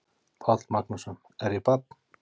Páll Magnússon: Er ég barn?